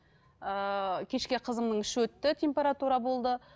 ыыы кешке қызымның іші өтті температура болды